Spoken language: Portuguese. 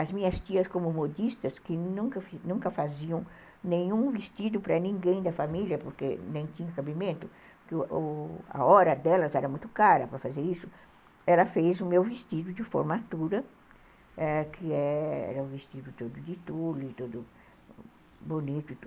As minhas tias, como modistas, que nunca faziam nenhum vestido para ninguém da família, porque nem tinha cabimento, porque a hora delas era muito cara para fazer isso, ela fez o meu vestido de formatura, que era um vestido todo de tule, bonito e tudo.